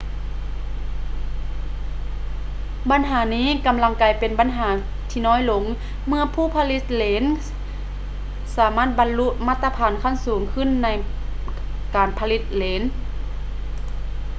ບັນຫານີ້ກຳລັງກາຍເປັນບັນຫາທີ່ນ້ອຍລົງເມື່ອຜູ້ຜະລິດເລນສາມາດບັນລຸມາດຕະຖານຂັ້ນສູງຂຶ້ນໃນການຜະລິດເລນ